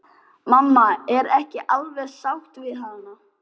Mamma er ekki alveg sátt við hana.